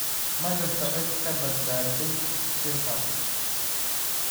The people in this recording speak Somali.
Ma jirto cid ka badbaaday shilkaasi.